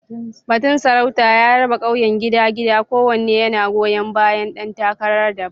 Batun sarauta ya raba ƙauyen gida-gida, kowanne yana goyon bayan ɗan takara daban.